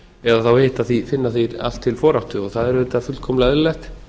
eða þá hitt að þeir finna því allt til foráttu það er auðvitað fullkomlega eðlilegt